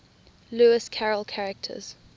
lewis carroll characters